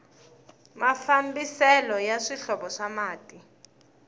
mafambiselo ya swihlovo swa mati